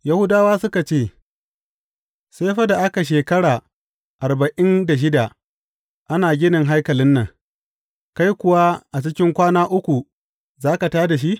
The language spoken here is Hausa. Yahudawa suka ce, Sai fa da aka shekara arba’in da shida ana ginin haikalin nan, kai kuwa a cikin kwana uku za ka tā da shi?